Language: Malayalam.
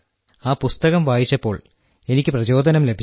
ആ പുസ്തകം വായിച്ചപ്പോൾ എനിക്ക് പ്രചോദനം ലഭിച്ചു